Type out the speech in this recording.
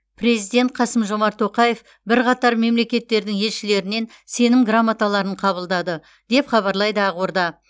президент қасым жомарт тоқаев бірқатар мемлекеттердің елшілерінен сенім грамоталарын қабылдады деп хабарлайды ақорда